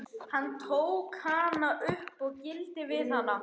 Hann tók hana upp og gældi við hana.